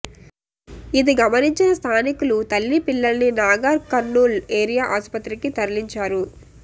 ఇది గమనించిన స్థానికులు తల్లీ పిల్లల్ని నాగర్కర్నూల్ ఏరియా ఆస్పత్రికి తరలించారు